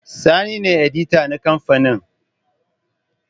Sani ne edita na kamfanin